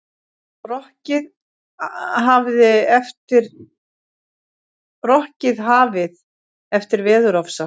Rokkið hafið eftir veðurofsa